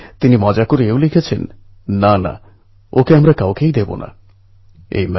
কিন্তু ঐ দিন ভাগ্যদেবীর অন্যরকম ইচ্ছা ছিল